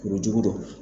Kuru jugu don